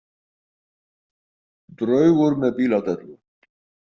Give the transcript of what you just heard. Draugur með bíladellu.